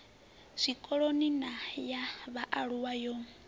zwikoloni na ya vhaalulwa yo